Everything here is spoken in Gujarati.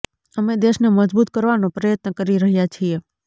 અમે દેશને મજબૂત કરવાનો પ્રયત્ન કરી રહ્યા છીએ